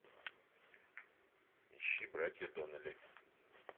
ищи братья доннелли